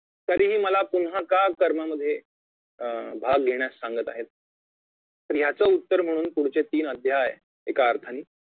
तरीही मला पुन्हा का कर्मामध्ये अं भाग घेण्यास सांगत आहेत तर ह्यांचं उत्तर म्हणून पुढचे तीन अध्याय एका अर्थानी